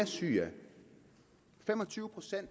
ser